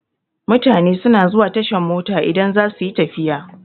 Mutane suna zuwa tashan mota idan za suyi tafiya.